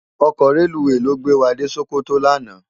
Òkò rélúwé ló gbé wá dé Sokoto làná